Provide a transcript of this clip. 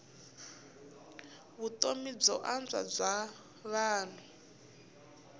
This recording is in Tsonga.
vutomi byo antswa bya vanhu